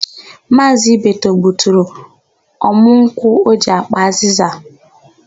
Maazị Ibeto gbuturu ọmụ nkwụ o ji ákpà azịza.